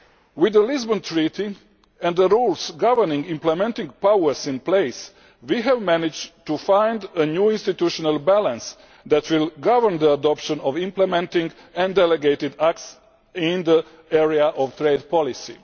With the Lisbon Treaty and the rules governing implementing powers in place, we have managed to find a new institutional balance that will govern the adoption of implementing and delegated acts in the area of trade policy.